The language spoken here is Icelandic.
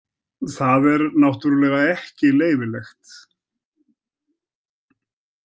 Það er náttúrulega ekki leyfilegt.